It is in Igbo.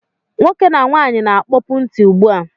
Nwoke na nwaanyị na-akpopu ntị ụgbụ a